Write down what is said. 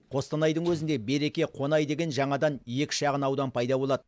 қостанайдың өзінде береке қонай деген жаңадан екі шағын аудан пайда болады